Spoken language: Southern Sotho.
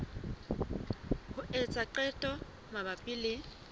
ho etsa qeto mabapi le